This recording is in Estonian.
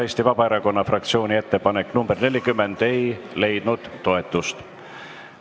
Eesti Vabaerakonna fraktsiooni ettepanek nr 40 ei leidnud toetust.